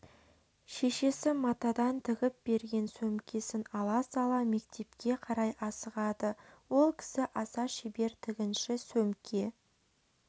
шешесі матадан тігіп берген сөмкесін ала сала мектепке қарай асығады ол кісі аса шебер тігінші сөмке